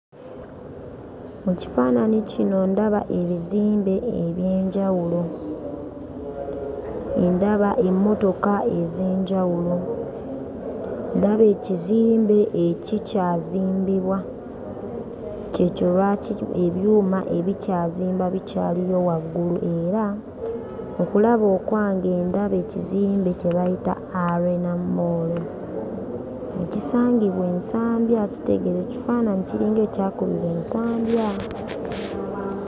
Mu kifaananyi kino ndaba ebizimbe eby'enjawulo. Ndaba emmotoka ez'enjawulo. Ndaba ekizimbe ekikyazimbibwa. Ky'ekyo lwaki ebyuma ebikyazimba bikyaliyo waggulu era mu kulaba okwange ndaba ekizimbe kye bayita Arena Mall ekisangibwa e Nsambya kitegeeza ekifaananyi kiringa ekyakubibwa e Nsambya.